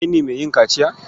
Kai ne mai yin kaciya?